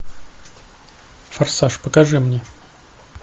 форсаж покажи мне